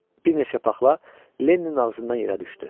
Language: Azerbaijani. Bir neçə paxla Lenninin ağzından yerə düşdü.